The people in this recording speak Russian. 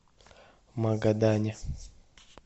магадане